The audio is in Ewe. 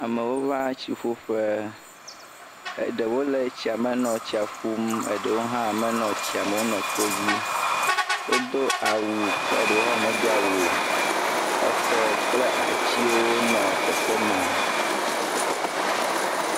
Amewo va tsi ƒu ƒe, eɖewo nɔ etsia me nɔ tsia ƒum, eɖewo hã me tsia me o. wo nɔ kpo dzi. Wodo awu, eɖewo hã medo awu o. Exɔ kple atiwo nɔ teƒe maa.